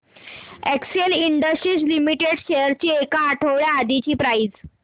Excel industries limited shares ची एक आठवड्या आधीची प्राइस